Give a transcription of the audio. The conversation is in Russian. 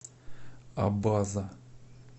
абаза